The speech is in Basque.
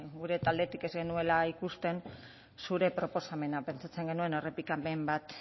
gure taldetik ez genuela ikusten zure proposamena pentsatzen genuen errepikapen bat